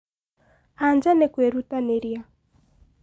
anja nĩ kwĩrutanĩria